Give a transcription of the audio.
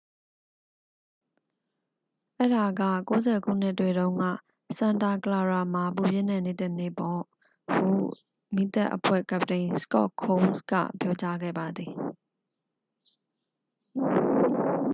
"""အဲဒါက ၉၀ ခုနှစ်တွေတုန်းက စန်တာ ကလာရာ မှာ ပူပြင်းတဲ့နေ့တစ်နေ့ပေါ့။ ဟု မီးသတ်အဖွဲ့ကပ္ပတိန် စကော့ ခုန်းစ် က ပြောကြားခဲ့ပါသည်။